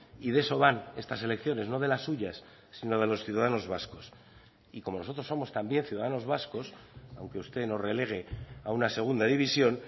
y de eso van estas elecciones no de las suyas sino de los ciudadanos vascos y como nosotros somos también ciudadanos vascos aunque usted nos relegue a una segunda división